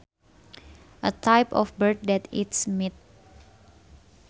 A type of bird that eats meat